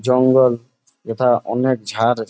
জঙ্গল যেটা অনেক ঝার--